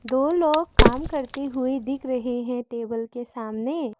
दो लोग काम करते हुए दिख रहे हैं टेबल के सामने।